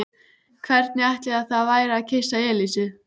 Hvernig ætli það væri að kyssa Elísu?